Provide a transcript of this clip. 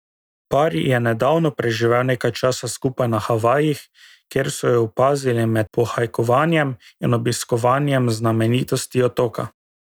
Par je nedavno preživel nekaj časa skupaj na Havajih, kjer so ju opazili med pohajkovanjem in obiskovanjem znamenitosti otoka.